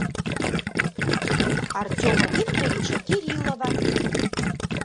артема викторовича кириллова